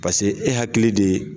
Paseke e hakili de ye